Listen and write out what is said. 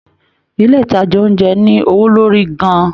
Ilé ìtajà oúnjẹ ní owó lórí gan-an